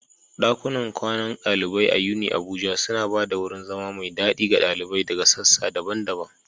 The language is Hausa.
ɗakunan kwanan ɗalibai a UniAbuja suna ba da wurin zama mai daɗi ga ɗalibai daga sassa daban-daban.